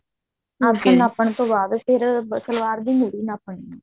ਮੁਰ੍ਹੀ ਨਾਪਣ ਬਾਅਦ ਫ਼ੇਰ ਸਲਵਾਰ ਦੀ ਮੁਰ੍ਹੀ ਨਾਪ੍ਣੀ ਹੈ